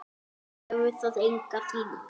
Hefur það enga þýðingu?